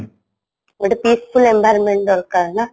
ଗୋଟେ peaceful environment ଦରକାରନା